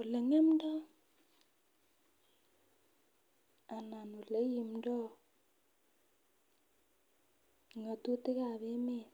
olengemdo anan oleibundoo ngotutik ab emet